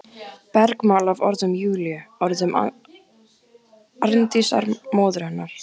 Bergmál af orðum Júlíu, orðum Arndísar, móður hennar.